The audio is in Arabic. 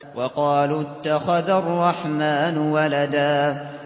وَقَالُوا اتَّخَذَ الرَّحْمَٰنُ وَلَدًا